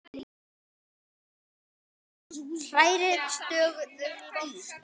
Hrærið stöðugt í.